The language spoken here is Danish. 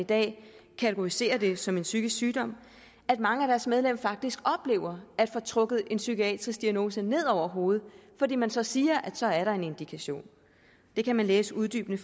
i dag kategoriserer det som en psykisk sygdom at mange af deres medlemmer faktisk oplever at få trukket en psykiatrisk diagnose ned over hovedet fordi man så siger at så er der en indikation det kan man læse uddybet